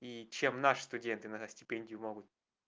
и чем наши студенты на стипендию могут